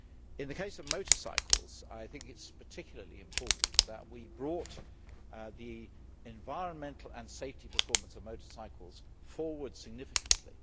In the case of motorcycles, I think it is particularly important that we have brought the environmental and safety performance of motorcycles forward significantly.